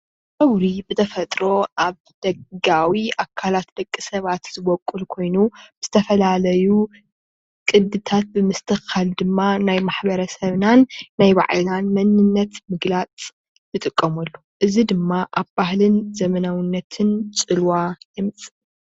ፀጉሪ ብተፈጥሮ አብ ደጋዊ ኣካል ደቂሰባት ዝቦቁል ኮይኑ ዝተፈላለዩ ቅድታት ንምስትኽኻል ድማ ናይ ማሕበረሰብናን ናይ ባዕልናን መንነት ንሞግላፅ እንጥቀመሉ።